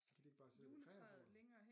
Kan de ikke bare sidde ved kreabordet